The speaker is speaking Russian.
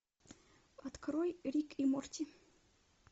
открой рик и морти